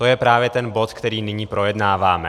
To je právě ten bod, který nyní projednáváme.